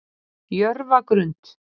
Jörfagrund